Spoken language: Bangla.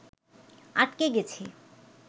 আটকে গেছি